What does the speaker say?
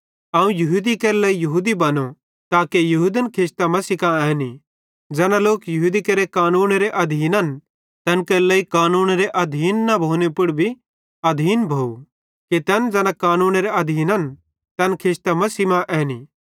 अवं यहूदी केरे लेइ यहूदी बनो ताके यहूदन खिचतां मसीह मां ऐनीं ज़ैना लोक यहूदी केरे कानूनेरे अधीन्न तैन केरे लेइ कानूनेरे अधीन न भोने पुड़ भी अधीन भोव कि तैन ज़ैना कानूनेरे आधीन्न तैन खिचतां मसीह मां ऐनीं